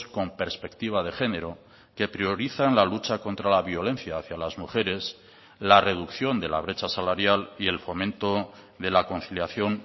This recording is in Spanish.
con perspectiva de género que priorizan la lucha contra la violencia hacia las mujeres la reducción de la brecha salarial y el fomento de la conciliación